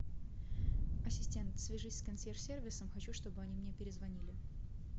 ассистент свяжись с консьерж сервисом хочу что бы они мне перезвонили